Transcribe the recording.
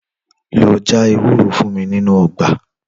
Lò jà èwúrò fún mi ninu ògbà